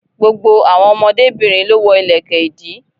Gbogbo àwọn ọmọdébinrin ló wọ ìlẹ̀kẹ̀ ìdí.